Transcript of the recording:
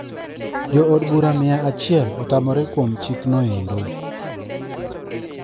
Jo od bura miya achiel otamre kuwom chik no endo